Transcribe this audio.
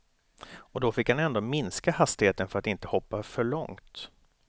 Och då fick han ändå minska hastigheten för att inte hoppa för långt.